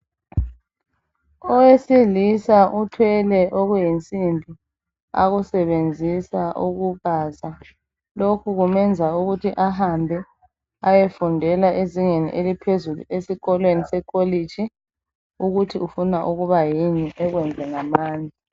Owesilisa uthwele okuyinsimbi akusebenzisa ukubaza; lokho kumenza ukuthi ahambe ayefundela ezingeni eliphezulu esikolweni se kholitshi ukuthi ufuna ukubayini akwenze ngamandla